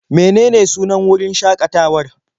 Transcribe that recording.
Menene sunan wurin shaƙatawar?